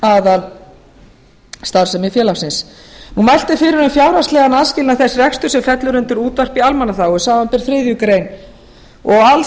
sem tengist aðalstarfsemi félagsins mælt er fyrir um fjárhagslegan aðskilnað þess reksturs sem fellur undir útvarp í almannaþágu samanber þriðju greinar og alls annars reksturs